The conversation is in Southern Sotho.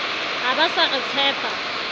ha ba sa re tshepa